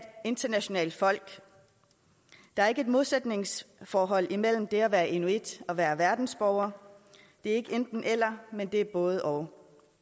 internationalt folk der er ikke et modsætningsforhold imellem det at være inuit og være verdensborger det er ikke enten eller men det er både og